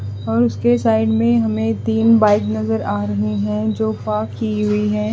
और उसके साइड में हमें तीन बाइक नज़र आ रही हैं जो फाक की हुई है।